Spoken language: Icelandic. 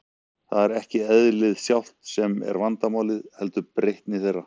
Það er ekki eðlið sjálft sem er vandamálið, heldur breytni þeirra.